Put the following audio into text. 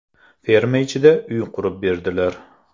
Ferma ichida uy qurib berdilar.